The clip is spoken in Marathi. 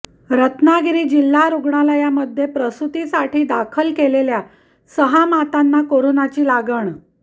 रत्नागिरी जिल्हा रूग्णालयामध्ये प्रसुतीसाठी दाखल केलेल्या सहा मातांना कोरोनाची लागण